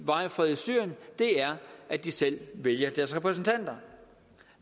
varig fred i syrien er at de selv vælger deres repræsentanter